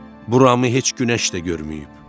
Buramı heç günəş də görməyib.